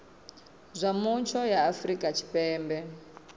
zwa mutsho ya afrika tshipembe